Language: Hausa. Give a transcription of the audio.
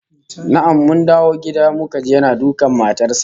Na'am, mun dawo gida muka ji yana dukan matar sa